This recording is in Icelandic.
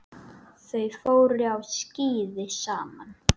Þau fóru á skíði saman.